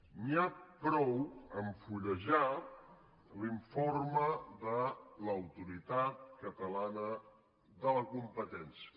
n’hi ha prou a fullejar l’informe de l’autoritat catalana de la competència